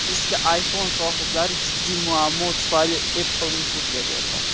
Eski iPhone sohiblari jiddiy muammo tufayli Apple’ni sudga berdi.